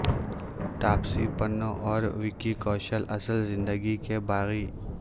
تاپسی پنو اور وکی کوشل اصل زندگی کے باغی